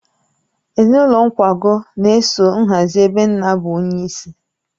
Ezinụlọ Nkwogu na-eso nhazi ebe nna bụ onyeisi.